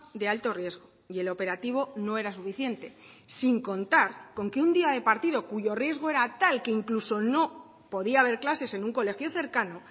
de alto riesgo y el operativo no era suficiente sin contar con que un día de partido cuyo riesgo era tal que incluso no podía haber clases en un colegio cercano